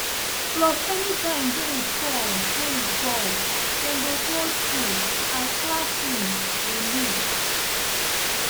plus anytime rain fall rain fall dem go close school as di classrooms dey leak